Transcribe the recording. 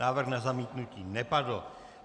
Návrh na zamítnutí nepadl.